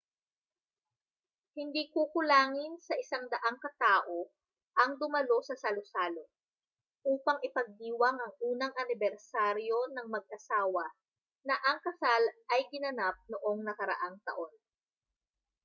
hindi kukulangin sa 100 katao ang dumalo sa salu-salo upang ipagdiwang ang unang anibersaryo ng mag-asawa na ang kasal ay ginanap noong nakaraang taon